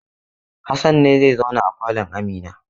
Hassan ne zai zauna a falon Amina?